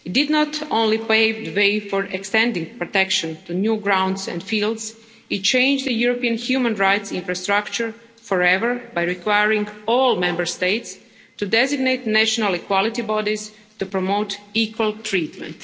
Not only did it pave the way for extending protection to new grounds and fields, it changed the European human rights infrastructure forever by requiring all Member States to designate national equality bodies to promote equal treatment.